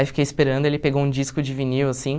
Aí fiquei esperando, ele pegou um disco de vinil assim.